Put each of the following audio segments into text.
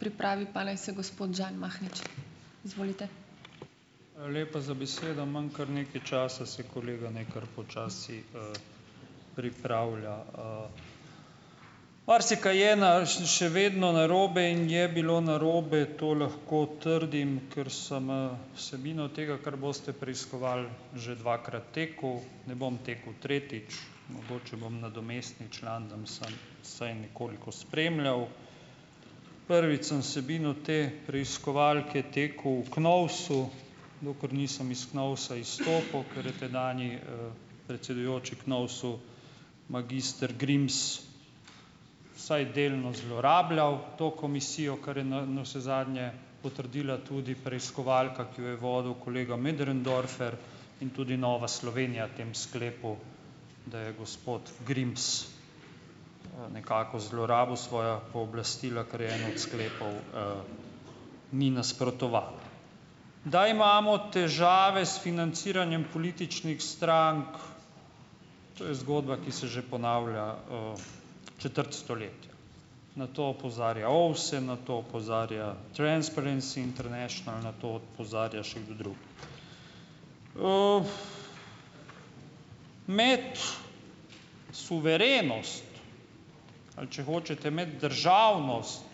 Hvala lepa za besedo. Imam kar nekaj časa, se kolega naj kar počasi pripravlja. Marsikaj je na še vedno narobe in je bilo narobe, to lahko trdim, ker sem vsebino tega, kar boste preiskovali, že dvakrat tako. Ne bom tako tretjič. Mogoče bom nadomestni član, da bom samo vsaj nekoliko spremljal. Prvič sem vsebino te preiskovalke tako v KNOVS-u, dokler nisem is KNOVS-a izstopu, ker je tedanji predsedujoči KNOVS-u, magister Grims, vsaj delno zlorabljal to komisijo, kar je navsezadnje potrdila tudi preiskovalka, ki jo je vodil kolega Möderndorfer, in tudi Nova Slovenija v tem sklepu, da je gospod Grims nekako zlorabil svojo pooblastila, kar je en od sklepov, ni nasprotovalo. Da imamo težave s financiranjem političnih strank, to je zgodba, ki se že ponavlja četrt stoletja. Na to opozarja OVSE, na to opozarja Transparency International, na to opozarja še kdo drug. Imeti suverenost ali, če hočete, imeti državnost,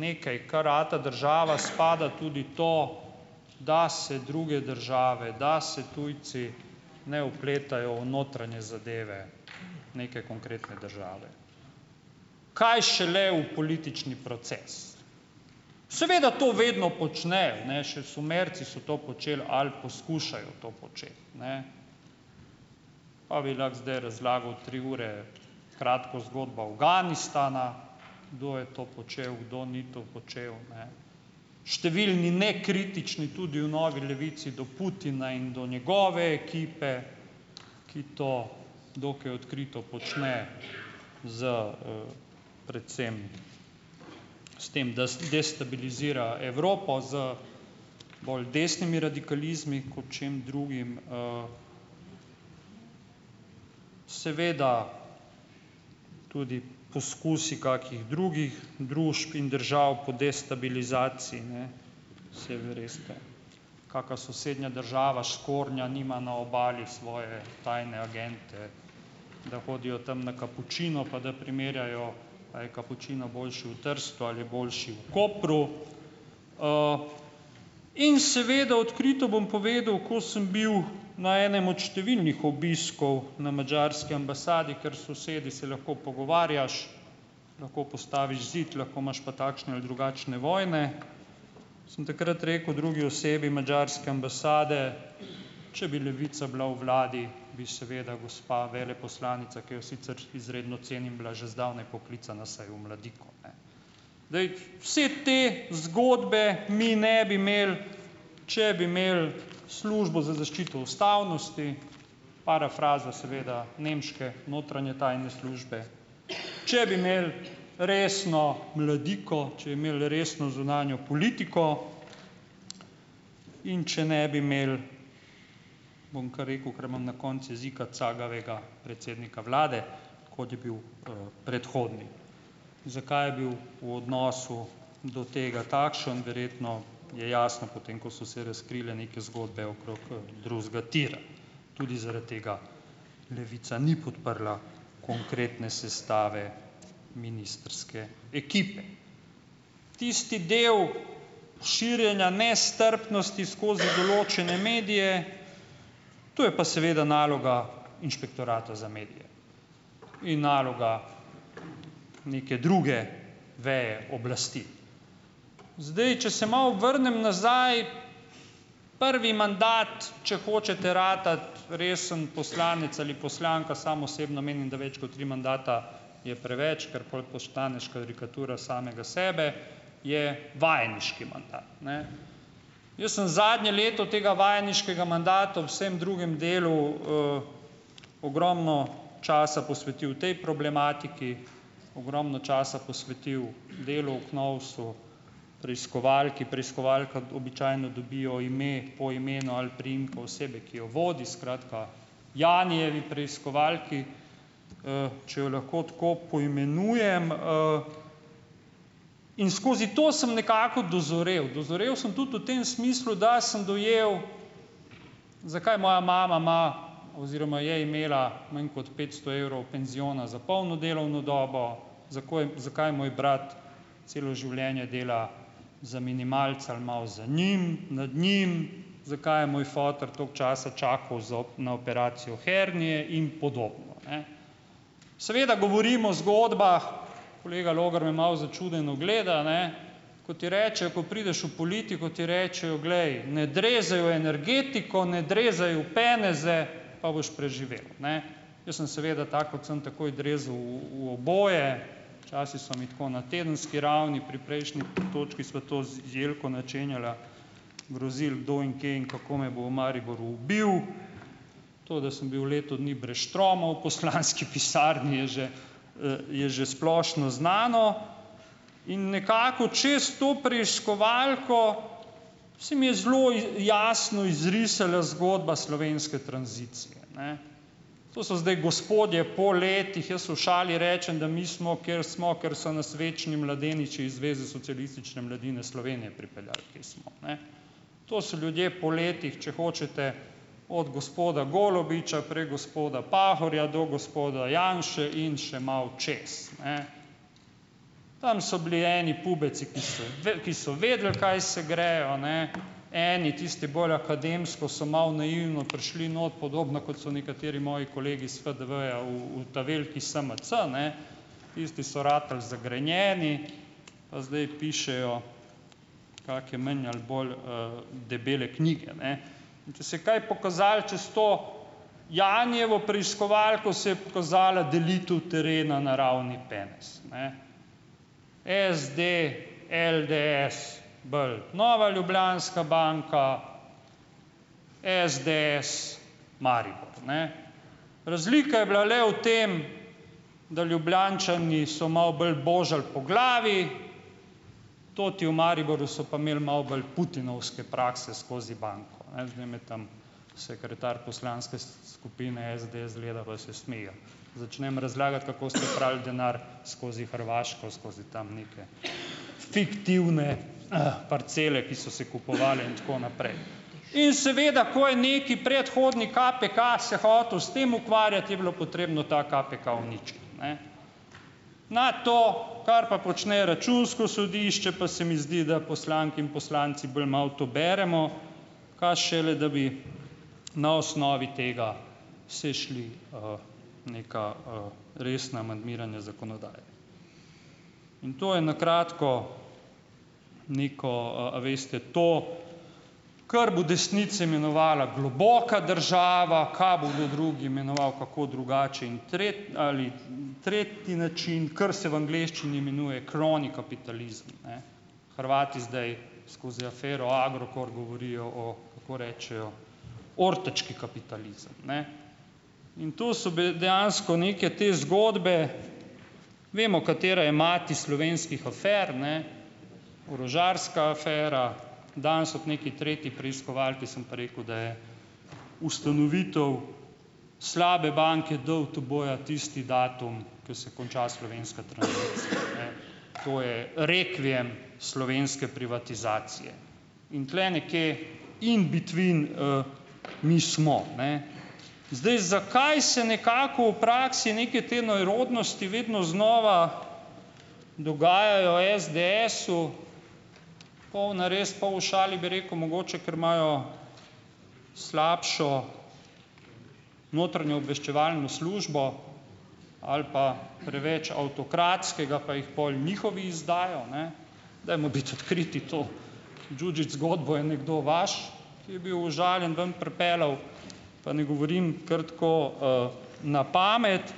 nekaj kar rata država, spada tudi to, da se druge države, da se tujci ne vpletajo v notranje zadeve neke konkretne države, kaj šele v politični proces. Seveda to vedno počnejo. Ne, Še Sumerci so to počeli ali poskušajo to početi, ne. Pa bi lahko zdaj razlagal tri ure kratko zgodbo Afganistana, kdo je to počel, kdo ni to počel, ne. Številni nekritični, tudi v novi Levici, do Putina in do njegove ekipe, ki to dokaj odkrito počne s predvsem s tem, da destabilizira Evropo z bolj desnimi radikalizmi kot čem drugim Seveda tudi poskusi kakih drugih družb in držav po destabilizaciji, ne, saj veste. Kaka sosednja država škornja nima na obali, svoje tajne agente, da hodijo tam na kapučino pa da primerjajo, a je kapučino boljši v Trstu ali je boljši v Kopru. In seveda, odkrito bom povedal, ko sem bil na enem od številnih obiskov na madžarski ambasadi, ker s sosedi se lahko pogovarjaš, lahko postaviš zid, lahko imaš pa takšne ali drugačne vojne, sem takrat rekel drugi osebi madžarske ambasade, če bi Levica bila v vladi, bi seveda gospa veleposlanica, ki jo sicer izredno cenim, bila že zdavnaj poklicana vsaj v Mladiko, ne. Zdaj, vse te zgodbe mi ne bi imeli, če bi imeli službo za zaščito ustavnosti, parafraza seveda nemške notranje tajne službe, če bi imeli resno Mladiko, če bi imeli resno zunanjo politiko in če ne bi imeli, bom kar rekel, ker imam na koncu jezika, cagavega predsednika vlade, kot je bil predhodni. Zakaj je bil v odnosu do tega takšen? Verjetno je jasno, po tem, ko so se razkrile neke zgodbe okrog drugega tira. Tudi zaradi tega Levica ni podprla konkretne sestave ministrske ekipe. Tisti del širjenja nestrpnosti skozi določene medije, to je pa seveda naloga Inšpektorata za medije. Ni naloga neke druge veje oblasti. Zdaj, če se malo vrnem nazaj, prvi mandat, če hočete ratati resen poslanec ali poslanka, sam osebno menim, da več kot tri mandate je preveč, ker pol postaneš karikatura samega sebe, je vajeniški mandat, ne. Jaz sem zadnje leto tega vajeniškega mandata, vsem drugim delu, ogromno časa posvetil tej problematiki, ogromno časa posvetil delu o KNOVS-u, preiskovalki, preiskovalka običajno dobijo ime po imenu ali priimku osebe, ki jo vodi, skratka, Janijevi preiskovalki, če jo lahko tako poimenujem, in skozi to sem nekako dozorel, dozorel sem tudi v tem smislu, da sem dojel, zakaj moja mama ima oziroma je imela manj kot petsto evrov penziona za polno delovno dobo, zakaj zakaj moj brat celo življenje dela za "minimalca" ali malo za njim, nad njim, zakaj je moj "foter" toliko časa čakal za na operacijo hernije in podobno, ne. Seveda govorim o zgodbah, kolega Logar me malo začudeno gleda, ne, ko ti rečejo, ko prideš v politiko, ti rečejo, glej, ne drezaj v energetiko, ne drezaj v "peneze", pa boš preživel, ne. Jaz sem seveda, tako kot sem, takoj drezal v v oboje, včasih so mi tako na tedenski ravni, pri prejšnji točki sva to z Jelko načenjala, grozil kdo in kje in kako me bo v Mariboru ubil, to, da sem bil leto dni brez "štromov" v poslanski pisarni, je že je že splošno znano, in nekako čas, to preiskovalko, se mi je zelo jasno izrisala zgodba slovenske tranzicije, ne. To so zdaj gospodje po letih, jaz v šali rečem, da mi smo, kjer smo, ker so nas večni mladeniči iz Zveze socialistične mladine Slovenije pripeljali, kjer smo, ne. To so ljudje po letih, če hočete, od gospoda Golobiča, prek gospoda Pahorja do gospoda Janše in še malo čez, ne. Tam so bili eni "pubeci", ki so ki so vedeli, kaj se grejo, ne, eni, tisti bolj akademsko, so malo naivno prišli not, podobno kot so nekateri moji kolegi s FDV-ja v v ta veliki SMC, ne, tisti so ratali zagrenjeni, pa zdaj pišejo kake manj ali bolj debele knjige, ne. In če se je kaj pokazalo čez to Janijevo preiskovalko, se je pokazala delitev terena na ravni "penez", ne. SD, LDS, bolj Nova Ljubljanska banka, SDS - Maribor, ne. Razlika je bila le v tem, da Ljubljančani so malo bolj božali po glavi, "toti" v Mariboru so pa imeli malo bolj "putinovske" prakse skozi banko. Zdaj me tam, sekretar poslanske skupine SDS gleda, pa se smejijo. Začnem razlagati, kako ste prali denar skozi Hrvaško, skozi tam neke fiktivne parcele, ki so se kupovale in tako naprej. In seveda, ko je nekaj predhodnik KPK se hotel s tem ukvarjati, je bilo potrebno ta KPK uničiti, ne. Na to, kar pa počne Računsko sodišče, pa se mi zdi, da poslanke in poslanci bolj malo to beremo, kaj šele da bi na osnovi tega se šli neka resna "amandmiranja" zakonodaje. In to je na kratko neko, a veste, to, kar bo desnica imenovala globoka država, kaj bo kdo drug imenoval, kako drugače in ali tretji način, kar se v angleščini imenuje "crony capitalism", ne. Hrvati zdaj skozi afero Agrokor govorijo o, kako rečejo, "ortački kapitalizem", ne, in tu so dejansko neke te zgodbe, vemo, katera je mati slovenskih afer, ne, orožarska afera, danes ob nekaj tretji preiskovalki sem pa rekel, da je ustanovitev slabe banke DUTB-ja tisti datum, ke se konča slovenska tradicija, ne. To je rekviem slovenske privatizacije. In tule nekje - in between - mi smo, ne. Zdaj, zakaj se nekako v praksi neke te nerodnosti vedno znova dogajajo SDS-u? Pol na res, pol v šali bi rekel - mogoče, ker imajo slabšo notranjo obveščevalno slušbo ali pa preveč avtokratskega pa jih pol njihovi izdajo, ne. Dajmo biti odkriti - to Đuđić zgodbo je nekdo vaš, ki je bil užaljen, ven pripeljal. Pa ne govorim kar tako na pamet.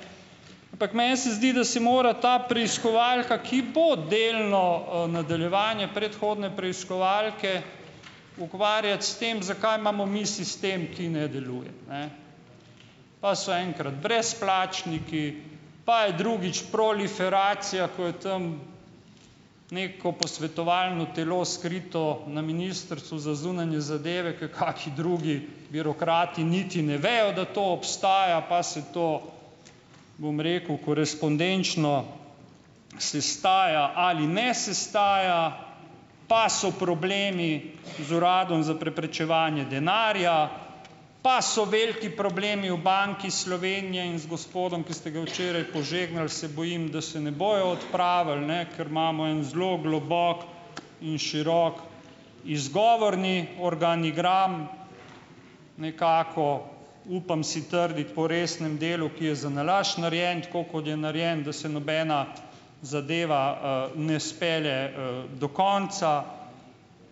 Ampak meni se zdi, da si mora ta preiskovalka, ki bo delno nadaljevanje predhodne preiskovalke, ukvarjati s tem, zakaj imamo mi sistem, ki ne deluje, ne. Pa so enkrat brezplačniki pa je drugič proliferacija, ko je tam neko posvetovalno telo skrito na Ministrstvu za zunanje zadeve, ker kakšni drugi birokrati niti ne vejo, da to obstaja, pa se to, bom rekel, korespondenčno sestaja ali ne sestaja. Pa so problemi z Uradom za preprečevanje denarja, pa so veliki problemi v Banki Slovenije in z gospodom, ki ste ga včeraj požegnal, se bojim, da se ne bojo odpravili, ne. Ker imamo en zelo globok in širok izgovorni organ. Igram nekako - upam si trditi po resnem delu, ki je zanalašč narejeno tako, kot je narejeno, da se nobena zadeva ne spelje do konca.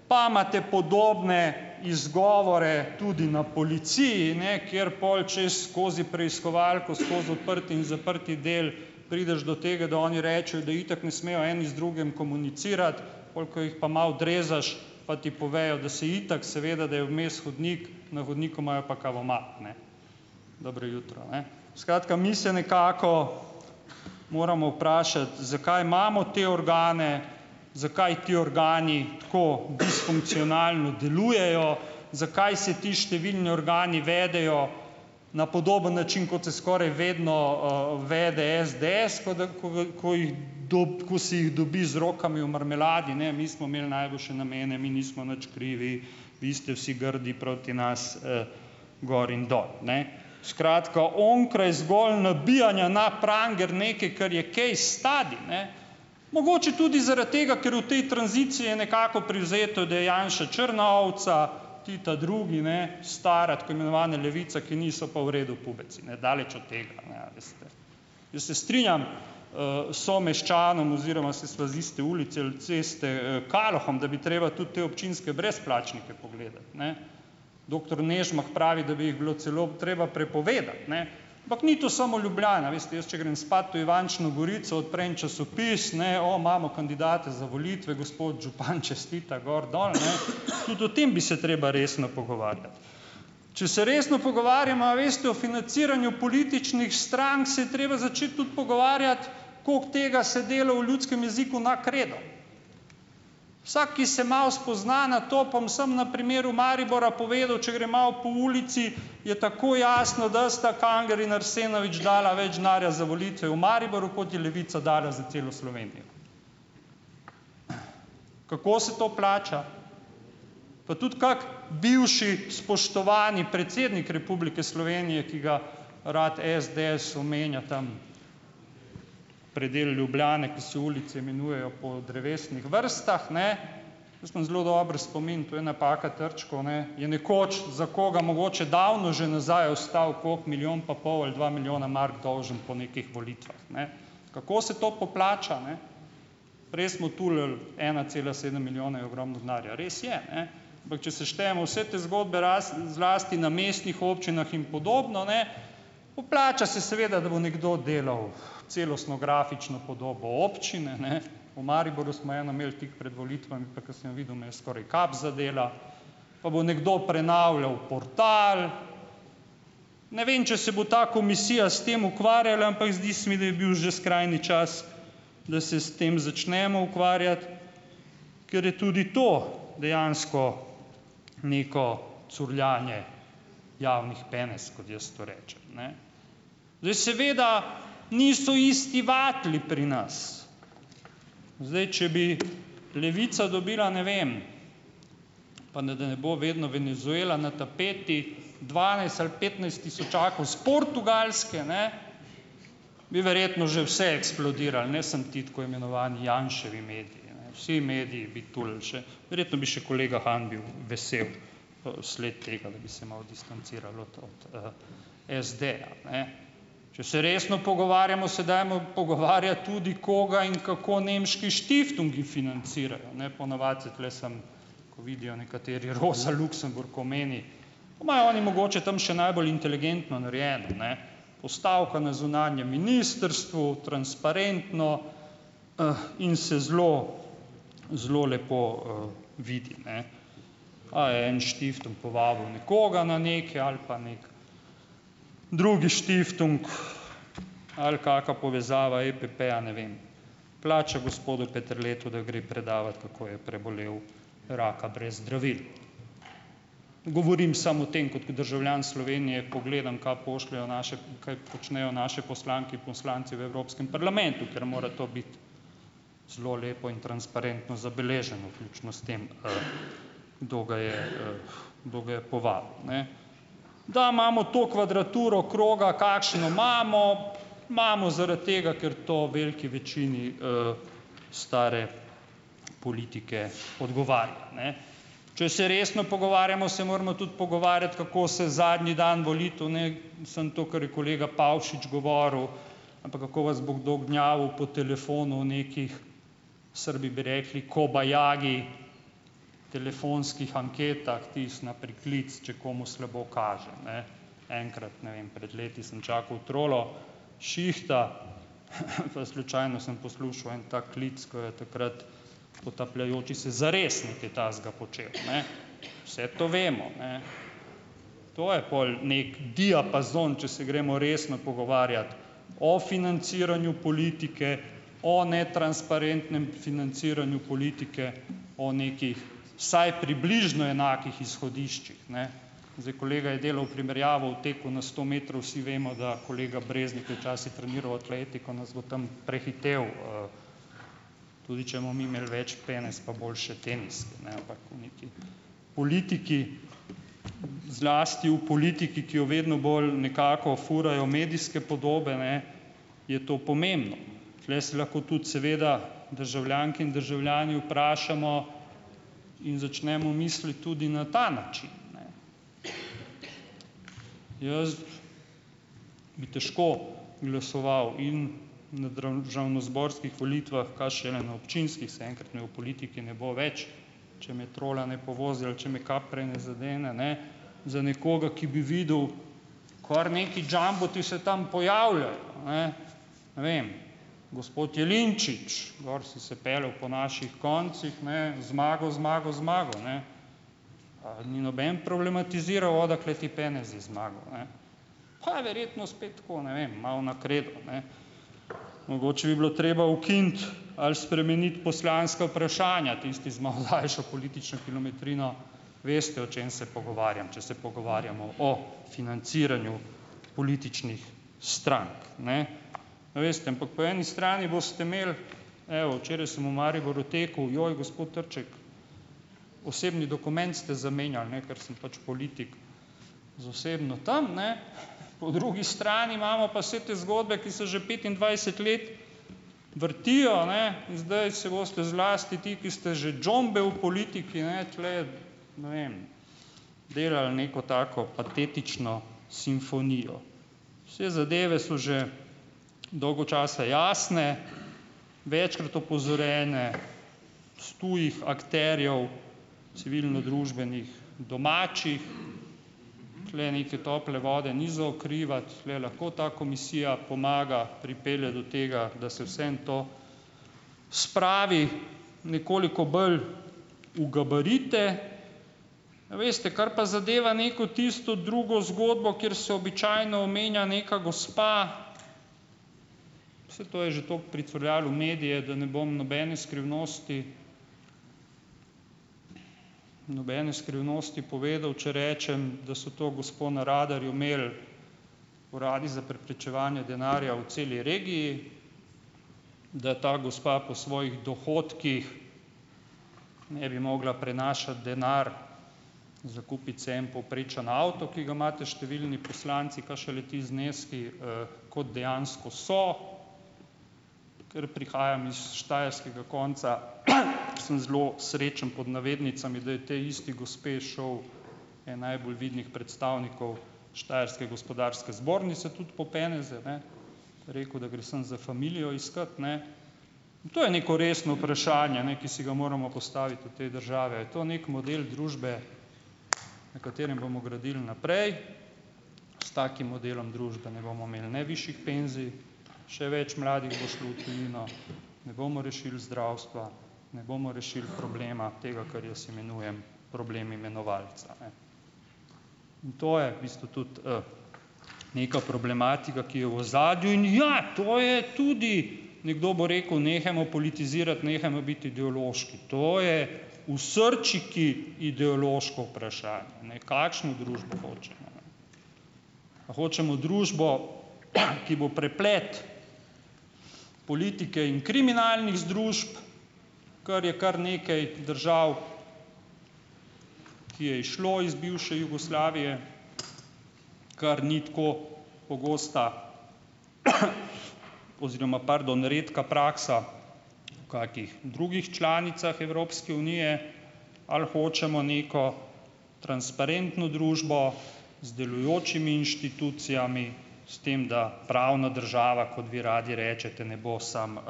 Pa imate podobne izgovore tudi na policiji, ne. Kjer pol čas - skozi preiskovalko, skoz odprt in zaprti del prideš do tega, da oni rečejo, da itak ne smejo eni z drugim komunicirati. Pol, ko jih pa malo drezaš, pa ti povejo, da se itak, seveda, da je vmes hodnik, na hodniku imajo pa kavomat, ne. Dobro jutro, ne. Skratka, mi se nekako moramo vprašati, zakaj imamo te organe. Zakaj ti organi tako disfunkcionalno delujejo. Zakaj se ti številni organi vedejo na podoben način, kot se skoraj vedno vede SDS, ko d ko ko jih ko se jih dobi z rokami v marmeladi. "Ne, mi smo imeli najboljše namene, mi nismo nič krivi, vi ste vsi grdi proti nas." Gor in dol, ne. Skratka, onkraj zgolj nabijanja na pranger nekaj, kar je case study, ne - mogoče tudi zaradi tega, ker je v tej tranziciji je nekako privzeto, da je Janša črna ovca, ti ta drugi, ne, stara, tako imenovana levica, ki ni, so pa v redu pubeci. Ne, daleč od tega, ne, a veste. Jaz se strinjam s someščanom, oziroma saj sva z iste ulice ali ceste - Kalohom, da bi treba tudi te občinske brezplačnike pogledati, ne. Doktor Nežmah pravi, da bi jih bilo celo treba prepovedati, ne. Ampak ni to samo Ljubljana. Veste, jaz, če grem spat v Ivančno Gorico, odprem časopis, ne - "o, imamo kandidate za volitve! Gospod župan čestita ..."- gor, dol, ne. Tudi o tem bi se treba resno pogovarjati. Če se resno pogovarjamo, a veste, o financiranju političnih strank, se je treba začeti tudi pogovarjati, koliko tega se dela, v ljudskem jeziku, na kredo. Vsak, ki se malo spozna na to - bom samo na primeru Maribora povedal - če grem malo po ulici, je takoj jasno, da sta Kangler in Arsenovič dala več denarja za volitve v Mariboru, kot je Levica dala za celo Slovenijo. Kako se to plača? Pa tudi kako bivši spoštovani predsednik Republike Slovenije, ki ga rad SDS omenja tam - predel Ljubljane, ko se ulice imenujejo po drevesnih vrstah, ne. Jaz imam zelo dober spomin - to je napaka Trčkov, ne - je nekoč za koga, mogoče davno že nazaj ostal, koliko, milijon pa pol ali dva milijona mark dolžen po nekih volitvah, ne. Kako se to poplača, ne? Prej smo tulili - ena cela sedem milijona je ogromno denarja. Res je, ne. Ampak če seštejemo vse te zgodbe, zlasti na mestnih občinah in podobno, ne - poplača se, seveda, da bo nekdo delal celostno grafično podobo občine, ne. V Mariboru smo eno imel tik pred volitvami, pa ko sem jo videl, me je skoraj kap zadela. Pa bo nekdo prenavljal portal ... Ne vem, če se bo ta komisija s tem ukvarjala, ampak zdi se mi, da je bil že skrajni čas, da se s tem začnemo ukvarjati. Ker je tudi to dejansko neko curljanje javnih penez, kot jaz to rečem, ne. Zdaj, seveda - niso isti vatli pri nas. Zdaj, če bi Levica dobila, ne vem, pa ne da ne bo vedno Venezuela na tapeti, dvanajst ali petnajst tisočakov s Portugalske, ne, bi verjetno že vse eksplodiralo, ne samo ti tako imenovani Janševi mediji, ne. Vsi mediji bi tulili še. Verjetno bi še kolega Han bil vesel v sled tega, da bi se malo distancirali od od SD-ja, ne. Če se resno pogovarjamo, se dajmo pogovarjati tudi koga in kako nemški štiftungi financirajo, ne. Po navadi se tule samo, ko vidijo nekateri - Rosa Luxemburg omeni, imajo oni mogoče tam še najbolj inteligentno narejeno, ne. Postavka na zunanjem ministrstvu, transparentno, in se zelo, zelo lepo vidi, ne. Pa je en štiftung povabil nekoga na neki, ali pa neki drugi štiftung, ali kaka povezava EPP-ja, ne vem, plača gospodu Peterletu, da gre predavat, kako je prebolel raka brez zdravil. Govorim samo o tem kot državljan Slovenije, ko gledam, kaj pošljejo naše kaj počnejo naše poslanke in poslanci v Evropskem parlamentu, ker mora to biti zelo lepo in transparentno zabeleženo. Vključno s tem, kdo ga je, kdo ga je povabil, ne. Da imamo to kvadraturo kroga, kakšno imamo, imamo zaradi tega, ker to veliki večini stare politike odgovarja, ne. Če se resno pogovarjamo, se moramo tudi pogovarjati, kako se zadnji dan volitev, ne, mislim to, kar je kolega Pavšič govoril, ampak kako vas bo kdo gnjavil po telefonu o nekih, Srbi bi rekli kobajagi telefonskih anketah, tisto na priklic, če komu slabo kaže, ne. Enkrat, ne vem, pred leti sem čakal trolo s šihta, pa slučajno sem poslušal en tak klic, ki je takrat potapljajoči se Zares nekaj takega počel, ne. Vse to vemo, ne. To je pol neki diapazon, če se gremo resno pogovarjat o financiranju politike, o netransparentnem financiranju politike, o nekih vsaj približno enakih izhodiščih, ne. Zdaj kolega je delal primerjavo v teku na sto metrov. Vsi vemo, da kolega Breznik je včasih treniral atletiko, nas bo tam prehitel, tudi če bomo mi imeli več penez pa boljše teniske, ne, ampak v neki politiki, zlasti v politiki, ki jo vedno bolj nekako furajo medijske podobe, ne, je to pomembno. Tule se lahko tudi seveda državljanke in državljani vprašamo in začnemo misliti tudi na ta način, ne. Jaz bi težko glasoval in na državnozborskih volitvah, kaj šele na občinskih, saj enkrat me v politiki ne bo več, če me trola ne povozi ali če me kap prej ne zadene, ne. Za nekoga, ki bi videl kar neki jumboti se tam pojavljajo, ne. Ne vem. Gospod Jelinčič. Gor si se peljal po naših koncih, ne, Zmago, Zmago, Zmago, ne. Ni noben problematiziral, odakle ti penezi, Zmago, ne? Pa je verjetno spet tako, ne vem, malo na kredo, ne. Mogoče bi bilo treba ukiniti ali spremeniti poslanska vprašanja, tisti z malo daljšo politično kilometrino veste, o čem se pogovarjam, če se pogovarjamo o financiranju političnih strank, ne. No, veste, ampak po eni strani boste imeli, evo, včeraj sem v Mariboru tekel: "Joj, gospod Trček. Osebni dokument ste zamenjal, ne." Ker sem pač politik - z osebno tam, ne, po drugi strani imamo pa vse te zgodbe, ki se že petindvajset let vrtijo, a ne. Zdaj se boste zlasti ti, ki ste že džombe v politiki, ne, tule je, ne vem, delali neko tako patetično simfonijo. Saj zadeve so že dolgo časa jasne, večkrat opozorjene, s tujih akterjev civilnodružbenih domačih, tule neke tople vode ni za odkrivati, tule lahko ta komisija pomaga, pripelje do tega, da se vseeno to spravi nekoliko bolj v gabarite. A veste, kar pa zadeva neko tisto drugo zgodbo, kjer se običajno omenja neka gospa, saj to je že toliko pricurljalo v medije, da ne bom nobene skrivnosti nobene skrivnosti povedal, če rečem, da so to gospo na radarju imel uradi za preprečevanja denarja v celi regiji, da ta gospa po svojih dohodkih ne bi mogla prenašati denar za kupiti si en povprečen avto, ki ga imate številni poslanci, kaj šele ti zneski, kot dejansko so, ker prihajam iz štajerskega konca, sem zelo srečen, pod navednicami, da je tej isti gospe šel en najbolj vidnih predstavnikov štajerske gospodarske zbornice tudi po peneze, ne, je rekel, da gre samo za familijo iskat, ne, in to je neko resno vprašanje, ne, ki si ga moramo postaviti v tej državi. A je to neki model družbe, na katerem bomo gradili naprej, s takim modelom družbe ne bomo imeli ne višjih penzij, še več mladih bo šlo v tujino, ne bomo rešili zdravstva, ne bomo rešili problema, tega, kar jaz imenujem problem imenovalca, ne. In to je v bistvu tudi neka problematika, ki je v ozadju, in ja, to je tudi, nekdo bo rekel, nehajmo politizirati, nehajmo biti ideološki. To je v srčiki ideološko vprašanje, ne, kakšno družbo hočemo, ne. A hočemo družbo, ki bo preplet politike in kriminalnih združb, kar je kar nekaj držav, ki je izšlo iz bivše Jugoslavije, kar ni tako pogosta oziroma, pardon, redka praksa kakih drugih članicah Evropske unije, ali hočemo neko transparentno družbo z delujočimi inštitucijami, s tem, da pravna država, kot vi radi rečete, ne bo samo